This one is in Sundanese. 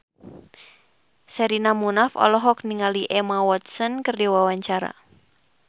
Sherina Munaf olohok ningali Emma Watson keur diwawancara